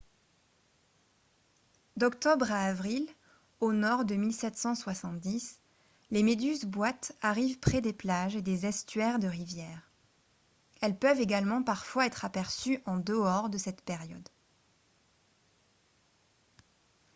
d'octobre à avril au nord de 1770 les méduses-boîtes arrivent près des plages et des estuaires de rivières elles peuvent également parfois être aperçues en dehors de cette période